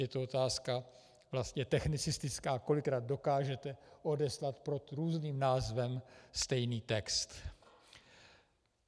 Je to otázka vlastně technicistická, kolikrát dokážete odeslat pod různým názvem stejný text.